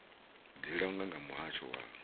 dzi langwa nga muhasho wa